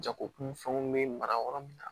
Jagokunfɛnw bɛ mara yɔrɔ min na